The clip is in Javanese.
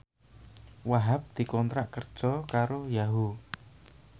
Wahhab dikontrak kerja karo Yahoo!